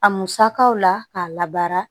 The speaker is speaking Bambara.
A musakaw la k'a labaara